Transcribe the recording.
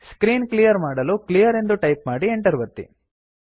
screen clear ಮಾಡಲು clear ಎಂದು type ಮಾಡಿ Enter ಒತ್ತಿ